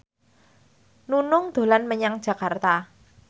Nunung dolan menyang Jakarta